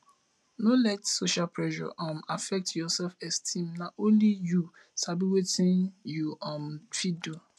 no let social pressure um affect your selfesteem na only you sabi wetin you um fit do